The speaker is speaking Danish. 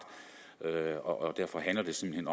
og derfor handler det simpelt